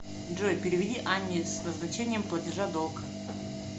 джой переведи анне с назначением платежа долг